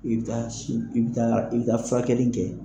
I bi taa si i bi taa i bi bɛ taa furakɛli kɛ.